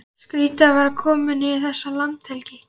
Skrýtið að vera allt í einu kominn í þessa landhelgi!